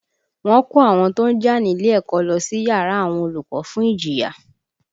Wọ́n kó àwọn tó jà nílé ẹ̀kọ́ lọ sí yàrá àwọn olùkọ́ fún ìjìyà